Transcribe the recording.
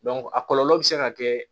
a kɔlɔlɔ bɛ se ka kɛ